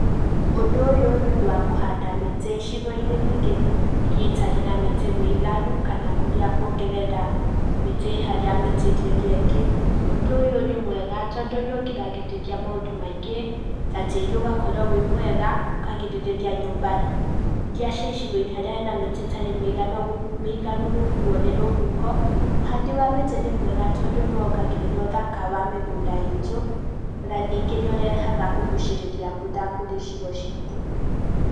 Ũdũ ũyũ nĩ ũdũ wa kũhanda mĩtĩ icigo-inĩ ningĩ iria itarĩ na mĩtĩ mĩiganu, kana kũrĩa kuongerera mĩtĩ ĩĩ harĩa ĩĩ mĩtĩ ĩrĩa ĩngĩ, ũdũ ũyũ nĩ mwega todũ nĩ ũgiragĩrĩria maũndũ maingĩ, ta tĩri ũgakorwo wĩ mwega, ũkagĩrĩrĩria nyũba iria ci icigo-inĩ haria hena mĩtĩ ĩtari mĩiganu mĩiganu gũkũo nĩ rũhũho, ũhadi wa mĩtĩ nĩ mwega tondũ nĩ wongagĩrĩra ũthaka wa mĩgũda iitũ, na ningĩ nĩ ũrehaga kũgucĩrĩria mbũra kũrĩ icigo cĩtũ.